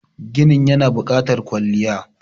ginin yana bukatar kwalliya